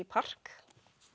park